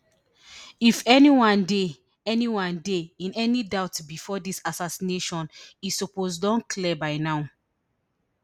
if anyone dey anyone dey in any doubt bifor dis assassination e suppose don clear by now